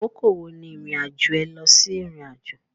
Àkókò wo ni irin-ajo é lọsí Irinajo